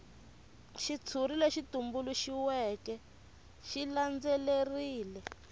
xitshuri lexi tumbuluxiweke xi landzelerile